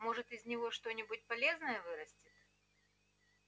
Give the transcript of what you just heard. может из него что-нибудь полезное вырастет